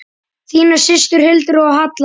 Þínar systur, Hildur og Halla.